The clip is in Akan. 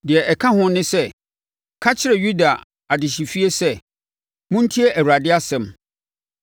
“Deɛ ɛka ho ne sɛ, ka kyerɛ Yuda adehyefie sɛ, ‘Montie Awurade asɛm;